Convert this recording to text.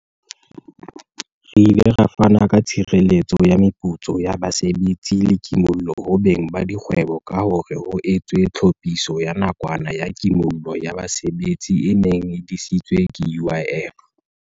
Re ile ra fana ka tshireletso ya meputso ya basebetsi le ki mollo ho beng ba dikgwebo ka hore ho etswe Tlhophiso ya Nakwana ya Kimollo ya Basebetsi e neng e disitswe ke UIF.